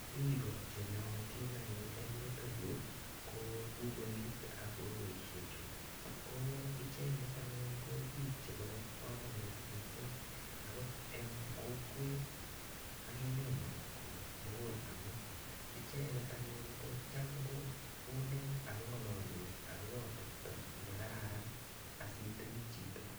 Biik che nootin en yuto yu ko kukoit ak kukoisiechu. Ko icheget anyun ko biik chebo kamanut mising agot eng kokwet ak emenyo komugul amu icheget anyun ko cham kokonech ak kongalalwech agobo atepto nekararan asitepi chito.